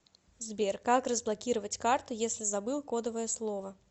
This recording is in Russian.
сбер как разблокировать карту если забыл кодовое слово